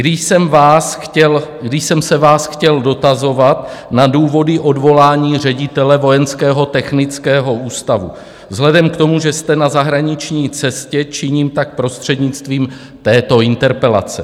Když jsem se vás chtěl dotazovat na důvody odvolání ředitele Vojenského technického ústavu, vzhledem k tomu, že jste na zahraniční cestě, činím, tak prostřednictvím této interpelace.